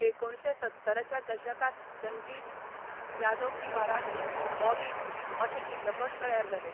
एकुणशे सत्तराच्या दशकात जंजीर, यादों की बारात, बॉबी, अशें चित्रपट तयार जालें.